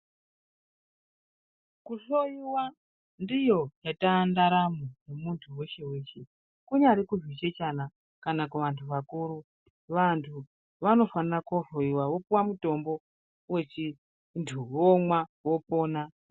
Kuhloyiwa ndiyo yatandaramo yemuntu weshe weshe. Kunyari kuzvichechana kana kuvantu akuru, vantu vanofana kohloyiwa vopuwa mutombo wechintu vomwa vopona.